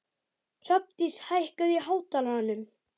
Hrafndís, hækkaðu í hátalaranum.